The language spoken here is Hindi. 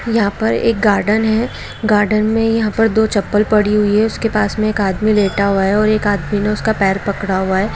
यहाँ पर एक गार्डन है गार्डन मे यहाँ पर दो चप्पल पड़ी हुई है उसके पास मे एक आदमी लेटा हुआ है और एक आदमी ने उसका पैर पकड़ा हुआ है।